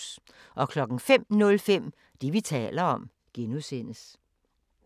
05:05: Det, vi taler om (G)